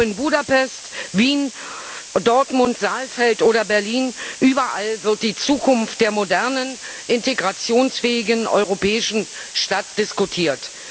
Ob in Budapest, Wien, Dortmund, Saalfeld oder Berlin überall wird die Zukunft der modernen integrationsfähigen europäischen Stadt diskutiert.